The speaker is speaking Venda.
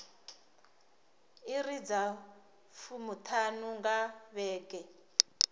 iri dza fumiṱhanu nga vhege